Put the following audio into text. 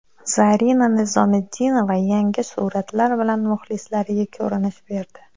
Zarina Nizomiddinova yangi suratlar bilan muxlislariga ko‘rinish berdi.